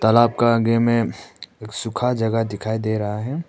तालाब का आगे में एक सुखा जगह दिखाई दे रहा है।